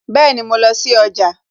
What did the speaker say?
Bẹẹni, mo lọ sí ọjà